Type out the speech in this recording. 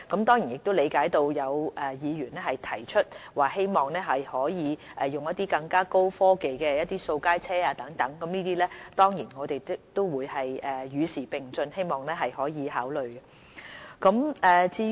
當然，我理解有議員提出希望可以使用更高科技的掃街車等，就此我們也會與時並進，希望可以考慮。